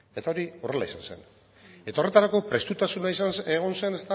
eta hori horrela izan zen eta horretarako prestutasuna egon zen